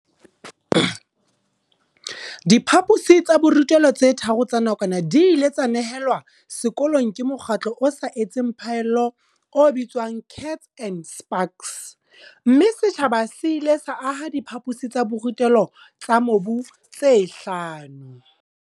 Diphaposi tsa borutelo tse tharo tsa nakwana di ile tsa nehelwa sekolong ke mokgatlo o sa etseng phaello o bitswang Kats and Spaks, mme setjhaba se ile sa aha diphaposi tsa borutelo tsa mobu tse hlano.